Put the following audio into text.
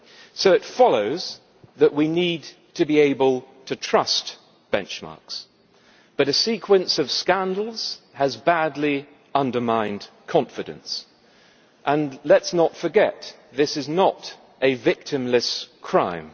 So it follows that we need to be able to trust benchmarks, but a sequence of scandals has badly undermined confidence and let us not forget that this is not a victimless crime.